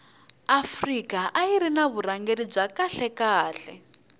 afrika ayiri ni vurhangeri bya kahle khale